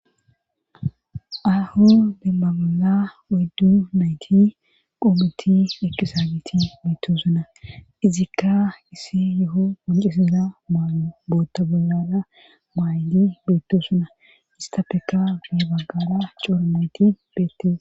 Ahu deemmagala oddu nayti qoometi eqqisagiti beetto suna izikka isi yeho poncisiza ma bootta bolada maay'di beetto suna istappeka me baggada coora nayti beettes.